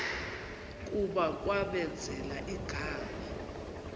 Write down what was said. kuba kwamenzela igama